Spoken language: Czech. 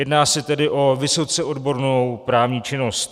Jedná se tedy o vysoce odbornou právní činnost.